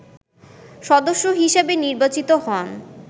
সদস্য হিসেবে নির্বাচিত হন